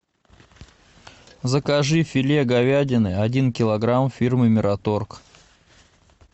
закажи филе говядины один килограмм фирмы мираторг